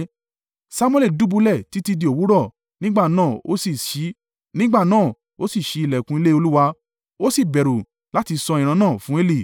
Samuẹli dùbúlẹ̀ títí di òwúrọ̀ nígbà náà ó sì ṣí ìlẹ̀kùn ilé Olúwa, ó sì bẹ̀rù láti sọ ìran náà fún Eli.